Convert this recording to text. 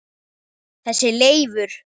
Þessi Leifur.